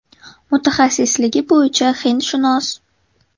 Mutaxassisligi bo‘yicha hindshunos.